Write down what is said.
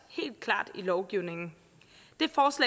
helt klart i lovgivningen